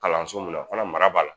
Kalanso mun na fana mara b'a la.